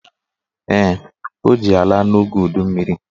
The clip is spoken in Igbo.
Ee, ọ ji ya laa n'oge udummiri